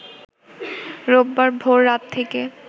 রোববার ভোর রাত থেকে